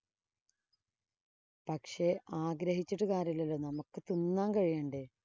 പക്ഷേ, ആഗ്രഹിച്ചിട്ടു കാര്യം ഇല്ലല്ലോ. നമുക്ക് തിന്നാന്‍ കഴിയേണ്ടേ.